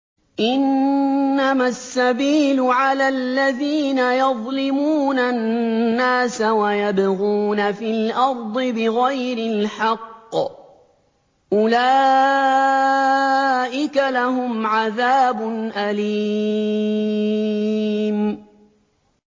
إِنَّمَا السَّبِيلُ عَلَى الَّذِينَ يَظْلِمُونَ النَّاسَ وَيَبْغُونَ فِي الْأَرْضِ بِغَيْرِ الْحَقِّ ۚ أُولَٰئِكَ لَهُمْ عَذَابٌ أَلِيمٌ